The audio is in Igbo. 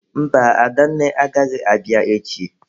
Mba, Adanne agaghị abịa echi.